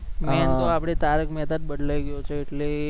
main તો આપણે તારક મહેતા જ બદલાઈ ગયો છે એટલે એ